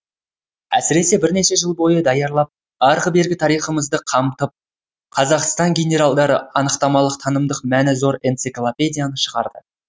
әсіресе бірнеше жыл бойы даярлап арғы бергі тарихымызды қамтып қазақстан генералдары анықтамалық танымдық мәні зор энциклопедияны шығарды